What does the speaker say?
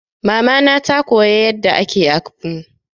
Mama na ta koya yadda ake akpu.